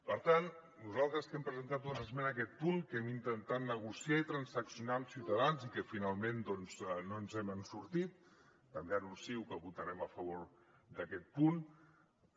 per tant nosaltres que hem presentat una esmena a aquest punt que hem intentat negociar i transaccionar amb ciutadans i que finalment doncs no ens n’hem sortit també anuncio que votarem a favor d’aquest punt